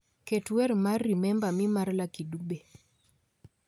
Ket wer mar remember me mar lucky dube